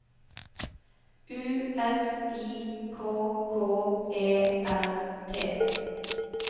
U S I K K E R T